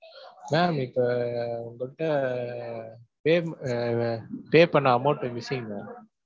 mam இப்ப அஹ் உங்ககிட்ட அஹ் paym உம் அஹ் pay பண்ண amount missing ma'am